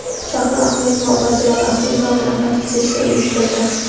Shahlo Ahmedova opasi Lola Ahmedova bilan fotosessiya uyushtirdi.